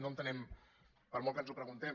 no entenem per molt que ens ho preguntem